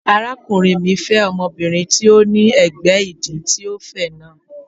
Arákùnrin mi fẹ́ ọmọbìnrin tí ó ní ẹ̀gbẹ́ ìdí tí ó fẹ̀ náà.